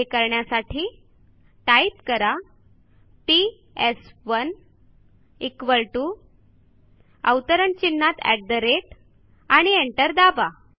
हे करण्यासाठी टाईप करा पीएस1 equal टीओ आणि एंटर दाबा